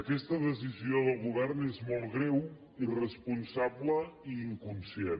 aquesta decisió del govern és molt greu irresponsable i inconscient